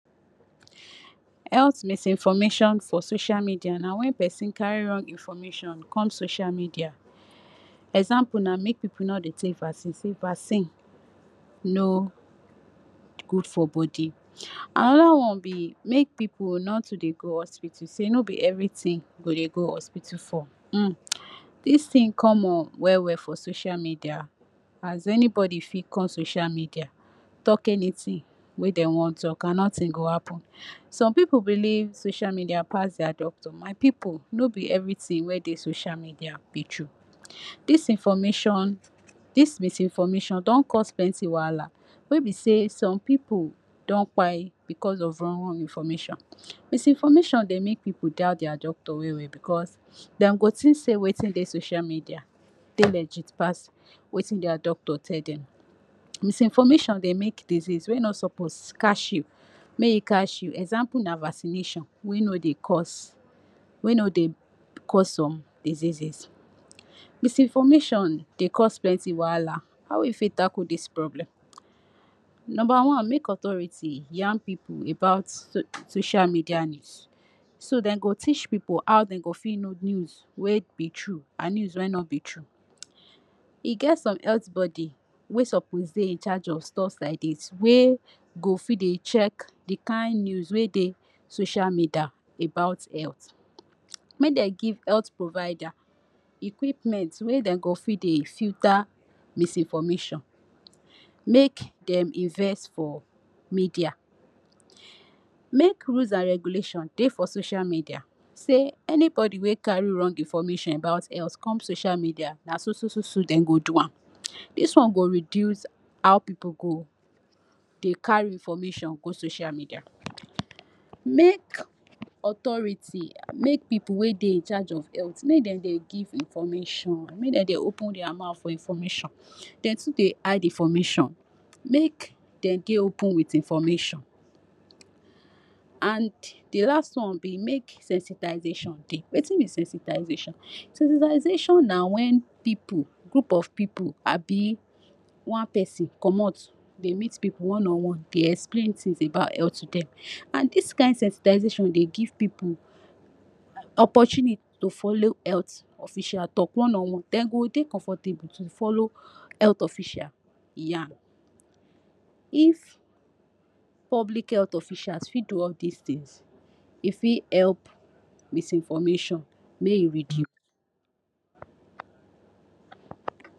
Health misinformation for social media na wen pesin carry wrong information come social media example na make pipu no dey take vaccine say vaccine no good for body, anoda on na make pipu no too dey go hospital say hospital no be evritin go dey go hospital for um dis tin common well well for social media as anybody fit come social media talk anytin wey dem wan oga notin go happen. Some pipu believe social media pass dia doctor, my pipu no be evritin wey dey social media be true, dis information dis misinformation don cause plenty wahala wey be say some pipu don kpai because of wrong wrong information. Misinformation dey make pipu doubt dia doctor well well because dem go tink say watin dey social media dey legit pass watin dia doctor tell dem, misinformation dey make disease wey no suppose catch you make e catch you example na vaccination wey no dey cause wey no dey cause some diseases. Misinformation dey cause plenty wahala how we fit tackle dis problem, number one make authority yan pipu about so social media news so dem go tech pipu how dem go fit know news wey be true and news wey no be true. E get some health body wey syppose dey in charge of stuffs like dis wey go fit dey check di kin news wey dey social media about health, make dem give health provider equipment wey dem go fit dey filter misinformation, make dem invest for media, make rules and regulation dey for social media say anybody wey carry wrong information about health come social media na so so so so dem go do am dis one go reduce how pipu go dey carry information go social media. Make authority make pipu wey dey in charge of health make dey dey give information make dem dey open dia mouth for information dem too dey hide information. Make dem dey open wit information and di last one be make sensitization dey, watin be sensitization? Sensitization na wen pipu, group of pipu abi one pesin commot dey meet pipu one on one dey explin tins about health to dem and dis kain sensitization dey give pipu opportunity to follow health official talk one on dem go dey comfortable to follow health official yan if public health officials fit do all dis tins e fit help misinformation make e reduce.